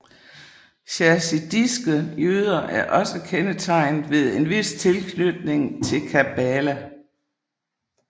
Chasidiske jøder er også kendetegnet ved en vis tilknytning til kabbala